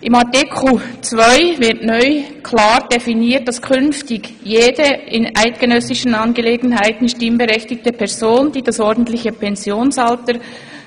In Artikel 2 wird neu klar definiert, dass künftig «[…] jede in eidgenössischen Angelegenheiten stimmberechtigte Person, die das ordentliche Pensionierungsalter